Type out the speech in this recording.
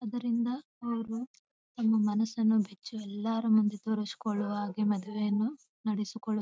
ಇದರಿಂದ ಅವರು ತಮ್ಮ ಮನಸ್ಸನ್ನು ಬಿಚ್ಚಿ ಎಲ್ಲರ ಮುಂದೆ ತೋರಿಸುಕೊಳ್ಳುಹಾಗೆ ಮದುವೆಯನ್ನು ನಡೆಸಿಕೊಳ್ಳು --